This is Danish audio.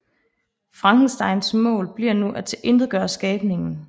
Frankensteins mål bliver nu at tilintetgøre skabningen